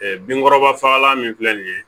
binkɔrɔba fagalan min filɛ nin ye